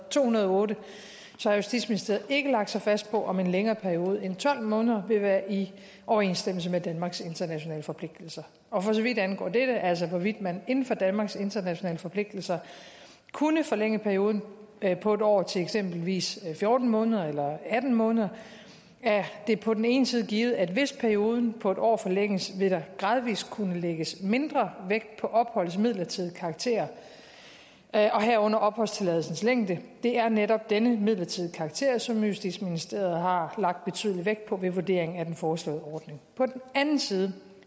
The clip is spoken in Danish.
to hundrede og otte så har justitsministeriet ikke lagt sig fast på om en længere periode end tolv måneder vil være i overensstemmelse med danmarks internationale forpligtelser og for så vidt angår dette altså hvorvidt man inden for danmarks internationale forpligtelser kunne forlænge perioden på en år til eksempelvis fjorten måneder eller atten måneder er det på den ene side givet at hvis perioden på en år forlænges vil der gradvis kunne lægges mindre vægt på opholdets midlertidige karakter og herunder opholdstilladelsens længde det er netop denne midlertidige karakter som justitsministeriet har lagt betydelig vægt på ved vurdering af den foreslåede ordning på den anden side